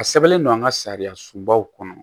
A sɛbɛnlen don an ka sariyasunbaw kɔnɔ